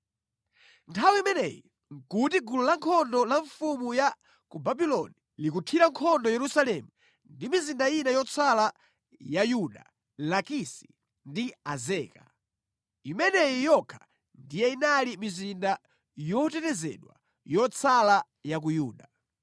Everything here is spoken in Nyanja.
Nthawi imeneyi nʼkuti gulu lankhondo la mfumu ya ku Babuloni likuthira nkhondo Yerusalemu ndi mizinda ina yotsala ya Yuda, Lakisi ndi Azeka. Imeneyi yokha ndiye inali mizinda yotetezedwa yotsala ya ku Yuda.